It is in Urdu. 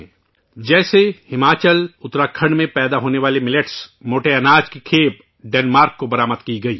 مثال کے طور پر، ہماچل، اتراکھنڈ میں پیدا ہونے والے باجرے موٹے اناج کی پہلی کھیپ ڈنمارک کو برآمد کی گئی